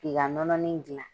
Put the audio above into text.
K'i ka nɔnɔnin gilan.